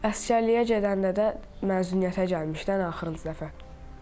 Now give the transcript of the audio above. Əsgərliyə gedəndə də məzuniyyətə gəlmişdi ən axırıncı dəfə.